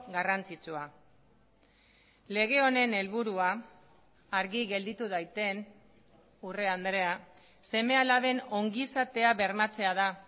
garrantzitsua lege honen helburua argi gelditu daiten urrea andrea seme alaben ongizatea bermatzea da